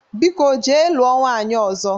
Biko jee lụọ nwanyị ọzọ!